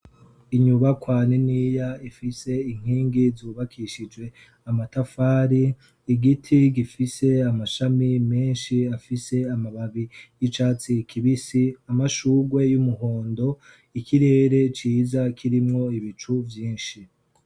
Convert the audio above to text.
Inyubakwa niniya ifise inkingi zubakishijwe amatafari. Igiti gifise amashami menshi, afise amababi y'icatsi kibisi. Amashurwe y'umuhondo. ikirere ciza kirimwo ibicu vyinshi.